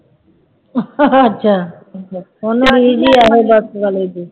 ਅੱਛਾ ਉਹਨਾਂ ਰੀਝ ਹੀ ਇਹੋ ਬਸ ਵਾਲੇ ਦੀ